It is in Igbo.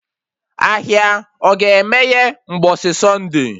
Ahịa ọ ga-emeye mgbọsị Sunday?